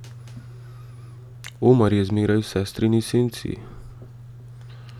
Omar je zmeraj v sestrini senci.